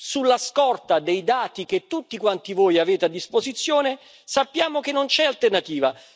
Sulla scorta dei dati che tutti quanti voi avete a disposizione, sappiamo che non c'è alternativa.